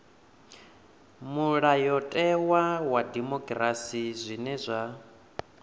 mulayotewa wa dimokirasi zwine zwa